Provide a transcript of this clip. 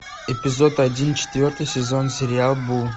эпизод один четвертый сезон сериал бум